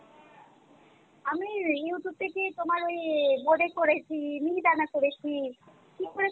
আমি Youtube থেকে তোমার ঐ বোডে করেছি মিহিদানা করেছি কী করে